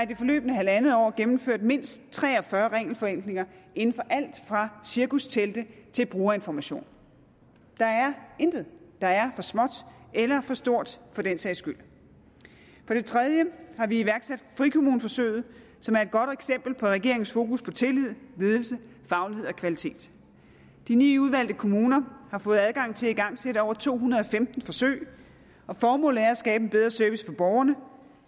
det forløbne halvandet år gennemført mindst tre og fyrre regelforenklinger inden for alt fra cirkustelte til brugerinformation der er intet der er for småt eller for stort for den sags skyld for det tredje har vi iværksat frikommuneforsøget som er et godt eksempel på regeringens fokus på tillid ledelse faglighed og kvalitet de ni udvalgte kommuner har fået adgang til at igangsætte over to hundrede og femten forsøg og formålet er at skabe en bedre service for borgerne